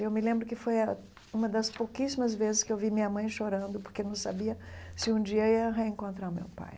Eu me lembro que foi ah uma das pouquíssimas vezes que eu vi minha mãe chorando porque não sabia se um dia ia reencontrar o meu pai.